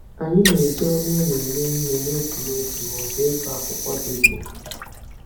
Anyị na-eji ọnụ ụlọ eme ihe n'otu n'otu ma ọ bụ ịgụ akwụkwọ dị jụụ.